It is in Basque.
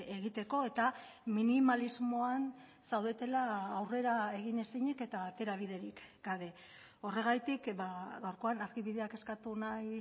egiteko eta minimalismoan zaudetela aurrera egin ezinik eta aterabiderik gabe horregatik gaurkoan argibideak eskatu nahi